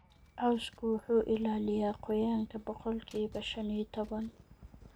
Cawsku wuxuu ilaaliyaa qoyaanka boqolkiba shan iyo tawan